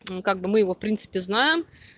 как бы мы его в принципе знаем